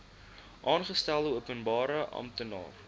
aangestelde openbare amptenaar